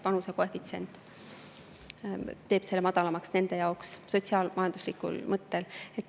Vanusekoefitsient teeb madalamaks just sotsiaal-majanduslikul põhjusel.